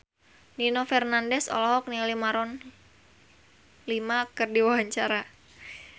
Nino Fernandez olohok ningali Maroon 5 keur diwawancara